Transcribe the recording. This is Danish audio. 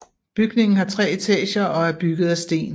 Bygningen har tre etager og er bygget af sten